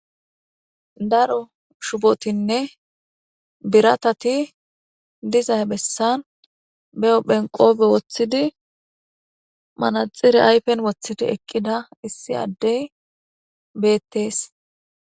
Daro shubotinne biratati dizay bessan be7o phenqoobe woththidi manaxire ayfen woththidi eqqida issi addey beettees.